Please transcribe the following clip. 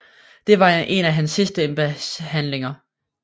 Det var en af hans sidste embedshandlinger